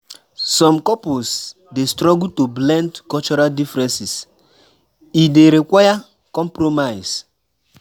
Some couples dey struggle to blend cultural differences; e dey require compromise.